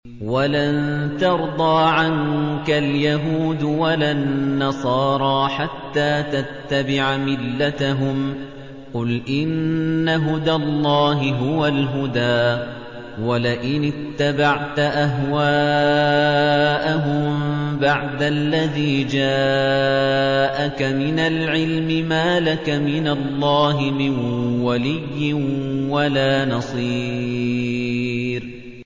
وَلَن تَرْضَىٰ عَنكَ الْيَهُودُ وَلَا النَّصَارَىٰ حَتَّىٰ تَتَّبِعَ مِلَّتَهُمْ ۗ قُلْ إِنَّ هُدَى اللَّهِ هُوَ الْهُدَىٰ ۗ وَلَئِنِ اتَّبَعْتَ أَهْوَاءَهُم بَعْدَ الَّذِي جَاءَكَ مِنَ الْعِلْمِ ۙ مَا لَكَ مِنَ اللَّهِ مِن وَلِيٍّ وَلَا نَصِيرٍ